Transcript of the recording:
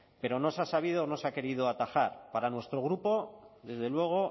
pero no se ha sabido o no se ha querido atajar para nuestro grupo desde luego